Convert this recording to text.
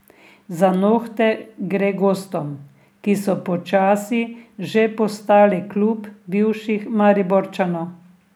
Za nohte gre gostom, ki so počasi že postali klub bivših Mariborčanov.